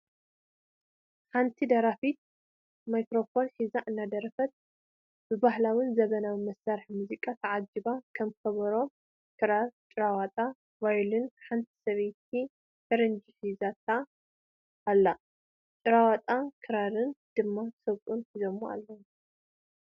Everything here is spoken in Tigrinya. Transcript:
ሓንቲ ደራፊት ማይክረፎን ሒዛ እናደረፈት ብባህላዊን ዘመናዊን መሳርሒ ሙዚቃ ተዓጆባ ከም ኮበሮ፣ ክራር ፣ጭራ ወጣ፣ ቫዮሊን ሓንቲ ሰበይቲ ፈረንጂ ሒዛታ ኣላ ጭራወጣን ክራርን ድማ ሰብኡት ሒዞም ኣለዉ።